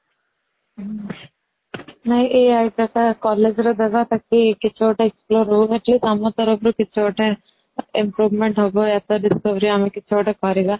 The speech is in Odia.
ନାଇଁ ଏଇ idea ଟା collage ରେ ଦେବା ତାକି କିଛି ଗୋଟେ explore ହଊ ଆମ ତରଫ ରୁ କିଛି ଗୋଟେ improvement ହବ ୟା ତ discovery ଆମେ ଗୋଟେ କିଛି କରିବା